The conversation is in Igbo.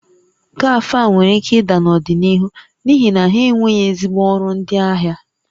Kafe a nwere ike ịda n'ọdịnihu n'ihi na ha enweghị ezigbo ọrụ ndị ahịa